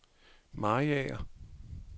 Mariager